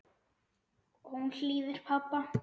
Hún hlýðir pabba.